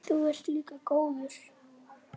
Þú ert líka góður.